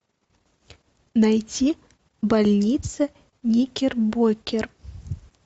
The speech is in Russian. найти больница никербокер